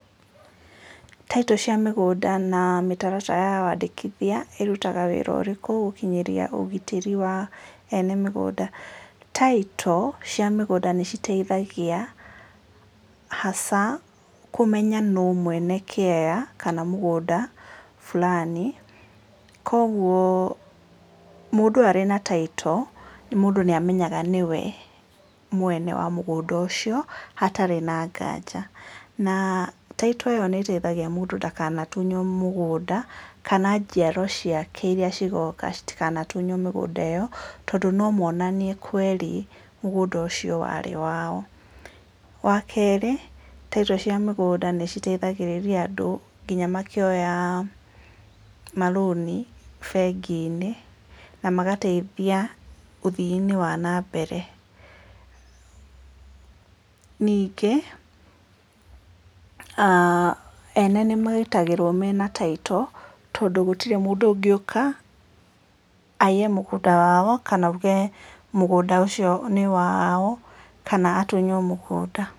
Taitũ cia mĩgũnda na mĩtaratara ya wandĩkithia ĩrutaga wĩra ũrĩkũ gũkinyanĩria ũgitĩri wa eene mĩgũnda? Taitũ cia mĩgũnda nĩ citeithagia hasa kũmenya nĩ mwene kĩaya kana mũgũnda fulani kwoguo mũndũ arĩ na taitũ mũndũ nĩ amenyaga nĩwe mwene wa mũgũnda ũcio hatarĩ na nganja na taitũ ĩyo nĩ teithagia mũndũ ndakanatunywo mũgũnda kana njiarwa ciake iria cigoka itakaniye gũtunywo mĩgũnda ĩyo, tondũ no monanie kweri mũgũnda wa rĩ wao. Wa kerĩ taitũ nĩ citeithagĩrĩria andũ nginya makĩoya marũni bengi-inĩ na magateithia ũthiinĩ wa na mbere, ningĩ aah ene nĩ marutagĩrwo mena taitũ tondũ gũtirĩ mũndũ ũngĩũka aiye mũgũnda wao kana oige mũgũnda ũcio nĩ wao kana atunywo mũgũnda.